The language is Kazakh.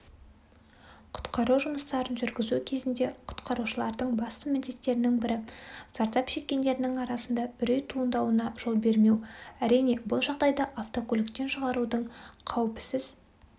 құтқару жұмыстарын жүргізу кезінде құтқарушылардың басты міндеттерінің бірі зардап шеккендердің арасында үрей туындауына жол бермеу әрине бұл жағдайда автокөліктен шығарудың қауіпсіз